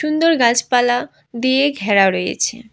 সুন্দর গাছপালা দিয়ে ঘেরা রয়েছে।